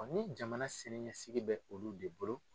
Ni jamana siniɲɛsigi bɛ olu de bolo.